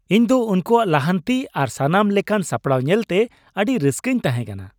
ᱤᱧ ᱫᱚ ᱩᱱᱠᱩᱣᱟᱜ ᱞᱟᱦᱟᱱᱛᱤ ᱟᱨ ᱥᱟᱱᱟᱢ ᱞᱮᱠᱟᱱ ᱥᱟᱯᱲᱟᱣ ᱧᱮᱞᱛᱮ ᱟᱹᱰᱤ ᱨᱟᱹᱥᱠᱟᱹᱧ ᱛᱟᱦᱮᱸ ᱠᱟᱱᱟ ᱾